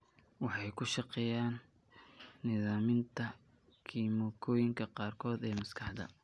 Waxay ku shaqeeyaan nidaaminta kiimikooyinka qaarkood ee maskaxda.